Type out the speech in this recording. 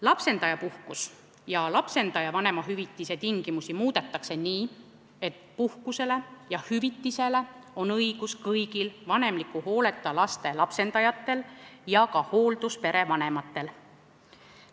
Lapsendajapuhkuse ja lapsendaja vanemahüvitise tingimusi muudetakse nii, et puhkust ja hüvitist on õigus saada kõigil vanemliku hooleta laste lapsendajatel ja ka hoolduspere vanematel.